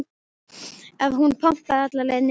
ef hún pompaði alla leið niður.